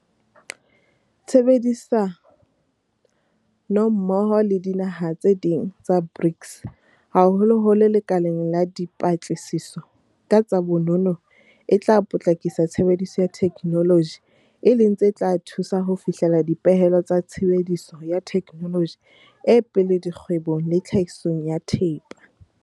Tshebedisanommoho le dinaha tse ding tsa BRICS haholoholo lekaleng la dipa tlasiso ka tsa bonono e tla potlakisa tshebediso ya the kenoloji e leng se tla thusa ho fihlela dipehelo tsa tshebediso ya thekenoloji e pele dikgwe bong le tlhahisong ya thepa.